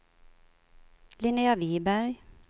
Linnea Viberg